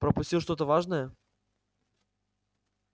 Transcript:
пропустил что-то важное